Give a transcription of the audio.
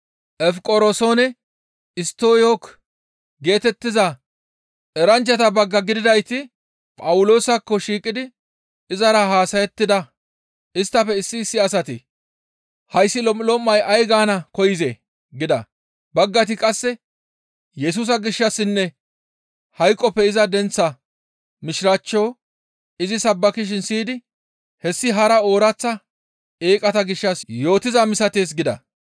Efiqoroosenne Isttoyko geetettiza eranchchata bagga gididayti Phawuloosakko shiiqidi izara haasayettida; isttafe issi issi asati, «Hayssi lom7ulom7ay ay gaana koyzee?» gida; baggayti qasse Yesusa gishshassinne hayqoppe iza denththaa mishiraachcho izi sabbakishin siyidi, «Hessi hara ooraththa eeqata gishshas yootiza misatees» gida.